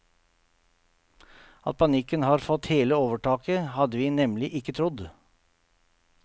At panikken har fått helt overtaket, hadde vi nemlig ikke trodd.